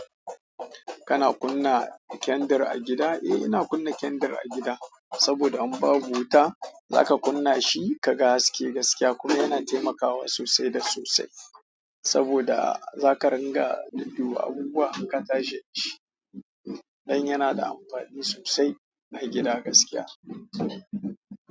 Kana kunna kandir a gida? Eh, ina kunna kandir a gida saboda in babu wuta zaka kunna shi kaga haske gaskiya kuma yana taimakawa sosai da sosai saboda zaka riga dudduba abubuwa in ka tashi. Dan yana da amfani sosai a gida gaskiya.